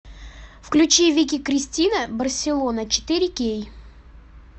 включи вики кристина барселона четыре кей